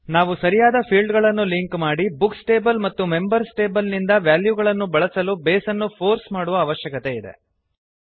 ನಾವು ಸರಿಯಾದ ಫೀಲ್ಡ್ ಗಳನ್ನು ಲಿಂಕ್ ಮಾಡಿ ಬುಕ್ಸ್ ಟೇಬಲ್ ಮತ್ತು ಮೆಂಬರ್ಸ್ ಟೇಬಲ್ ನಿಂದ ವೆಲ್ಯೂಗಳನ್ನು ಬಳಸಲು ಬೇಸ್ ಅನ್ನು ಫೋರ್ಸ್ ಮಾಡುವ ಅವಶ್ಯಕತೆ ಇದೆ